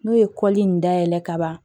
N'o ye kɔli in dayɛlɛ ka ban